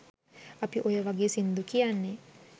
අපි ඔය වගේ සින්දු කියන්නෙ